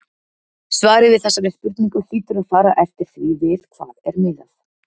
Svarið við þessari spurningu hlýtur að fara eftir því við hvað er miðað.